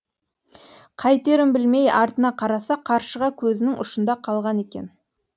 қайтерін білмей артына қараса қаршыға көзінің ұшында қалған екен